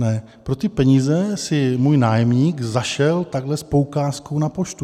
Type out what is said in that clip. Ne, pro ty peníze si můj nájemník zašel takhle s poukázkou na poštu.